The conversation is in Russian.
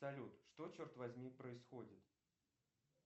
салют что черт возьми происходит